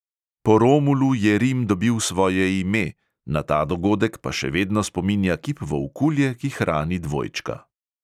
Po romulu je rim dobil svoje ime, na ta dogodek pa še vedno spominja kip volkulje, ki hrani dvojčka.